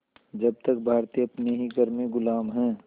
जब तक भारतीय अपने ही घर में ग़ुलाम हैं